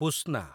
ପୁସ୍ନା